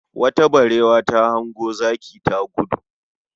Wata barewa ta hango zaki ta gudu